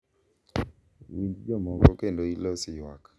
Winj jomoko kendo ilos ywak.